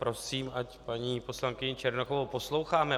Prosím, ať paní poslankyni Černochovou posloucháme.